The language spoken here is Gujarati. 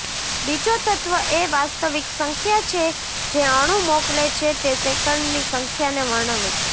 બીજો તત્વ એ વાસ્તવિક સંખ્યા છે જે અણુ મોકલે છે તે સેકંડની સંખ્યાને વર્ણવે છે